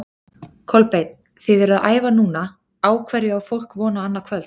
Kolbeinn, þið eruð að æfa núna, á hverju á fólk von á annað kvöld?